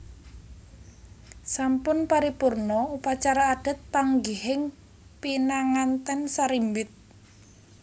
Sampun paripurna upacara adat panggihing pinanganten sarimbit